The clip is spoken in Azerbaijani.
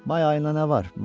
May ayında nə var?